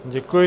Děkuji.